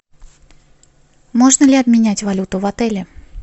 можно ли обменять валюту в отеле